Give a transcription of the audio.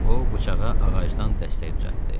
O bıçağa ağacdan dəstək düzəltdi.